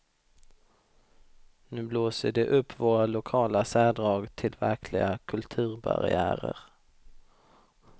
Nu blåser de upp våra lokala särdrag till verkliga kulturbarriärer.